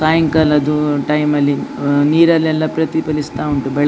. ಸಾಯಂಕಾಲದು ಟೈಮ್ ಅಲ್ಲಿ ನೀರಲ್ಲೆಲ್ಲ ಪ್ರತಿಫಲಿಸ್ತಾ ಉಂಟು ಬೆಳಕು.